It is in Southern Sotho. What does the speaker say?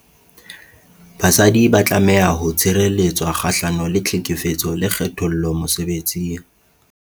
Basadi ba tlameha ho tshireletswa kgahlano le tlhekefetso le kgethollo mosebetsing.